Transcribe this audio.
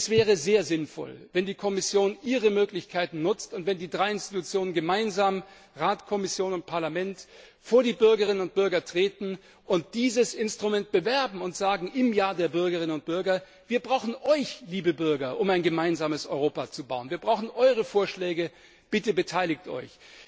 Es wäre sehr sinnvoll, wenn die Kommission ihre Möglichkeiten nutzt und wenn die drei Institutionen Rat, Kommission und Parlament gemeinsam vor die Bürgerinnen und Bürger treten und dieses Instrument bewerben und im Jahr der Bürgerinnen und Bürger sagen Wir brauchen euch, liebe Bürger, um ein gemeinsames Europa zu bauen, wir brauchen eure Vorschläge, bitte beteiligt euch!